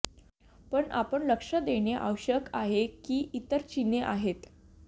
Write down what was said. पण आपण लक्ष देणे आवश्यक आहे की इतर चिन्हे आहेत